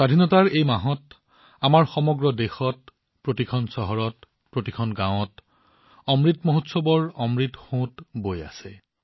স্বাধীনতা দিৱসৰ এই মাহটোত আমাৰ সমগ্ৰ দেশত প্ৰতিখন চহৰত প্ৰতিখন গাঁৱত অমৃত মহোৎসৱৰ অমৃত ধাৰা প্ৰবাহিত হৈ আছে